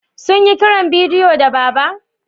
Sun yi kiran bidiyo da Baba?